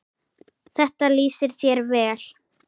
Þetta lýsir þér vel.